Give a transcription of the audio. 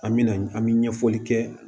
An me na an mi ɲɛfɔli kɛ